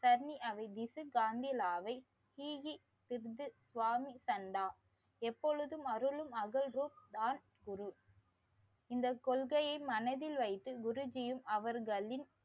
தனி அவை வைத்து காந்திலாவை சி வி சித்து சுவாமித்தன்னா எப்போதும் அருளும் அகழ்வும் தான் குரு இந்த கொள்கையை மனதில் வைத்து அவர்களின்